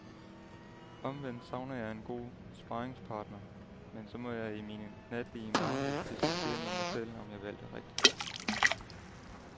Omvendt savner jeg en god sparringspartner, men så må jeg i mine natlige mareridt diskutere med mig selv, om jeg valgte rigtigt.